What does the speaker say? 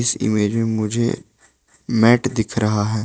इस इमेज मे मुझे मैट दिख रहा है।